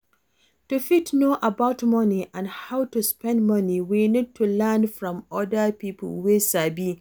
To fit know about money and how to spend money we need to learn from oda pipo wey sabi